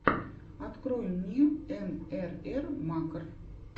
открой мне мррмакр